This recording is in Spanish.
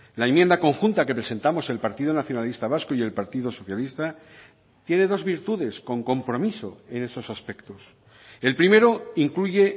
la enmienda conjunta que presentamos el partido nacionalista vasco y el partido socialista tiene dos virtudes con compromiso en esos aspectos el primero incluye